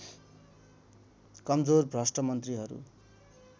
कमजोर भ्रष्ट मन्त्रीहरू